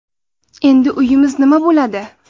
Endi uyimiz nima bo‘ladi?